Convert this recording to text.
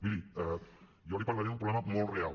miri jo li parlaré d’un problema molt real